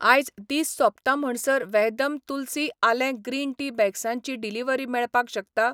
आयज दीस सोंपता म्हणसर वहदम तुलसी आलें ग्रीन टी बॅग्सां ची डिलिव्हरी मेळपाक शकता?